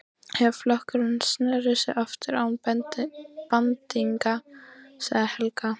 Þegar flokkurinn sneri aftur án bandingja, sagði Helga.